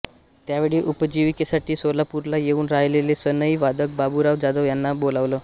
त्यावेळी उपजीविकेसाठी सोलापूरला येऊन राहिलेले सनई वादक बाबूराव जाधव यांना बोलावलं